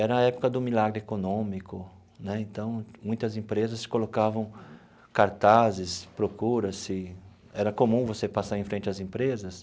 Era a época do milagre econômico né, então muitas empresas colocavam cartazes, procura-se, era comum você passar em frente às empresas.